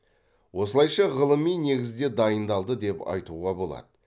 осылайша ғылыми негізде дайындалды деп айтуға болады